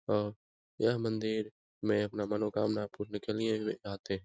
और यह मंदिर में अपना मनोकामना पूर्ण करने के लिए आते हैं ।